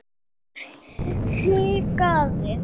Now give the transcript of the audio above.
Sjálfur hikaði